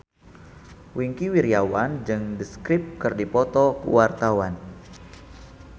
Wingky Wiryawan jeung The Script keur dipoto ku wartawan